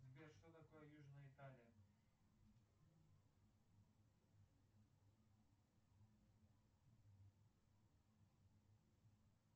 сбер что такое южная италия